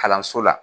Kalanso la